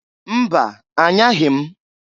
Mba! Anyaghi m.